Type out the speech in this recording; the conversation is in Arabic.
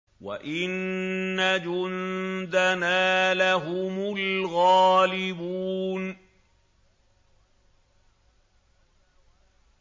وَإِنَّ جُندَنَا لَهُمُ الْغَالِبُونَ